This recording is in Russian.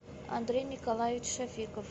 андрей николаевич шафиков